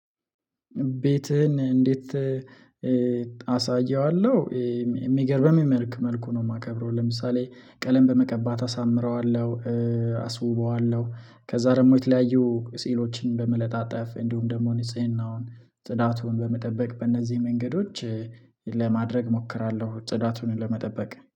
ቤትህን እንዴት? አሳየዋለሁ የሚገርም በሚመልክ መልኩ ነው። የማከብረው ለምሳሌ ቀለም በመቀባት አሳምረዋለሁ። አስውበዋለሁ ከዚያ ደግሞ የተለያዩ ሲዕሎችን በመለጠፍ እንዲሁም ደግሞ ንጽህናውን ጽዳቱን በመጠበቅ በእነዚህ መንገዶች ለማድረግ እሞክራለሁ። ጽዳቱን ለመጠበቅ